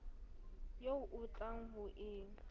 eo o tlang ho e